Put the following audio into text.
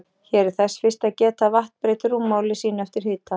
Hér er þess fyrst að geta að vatn breytir rúmmáli sínu eftir hita.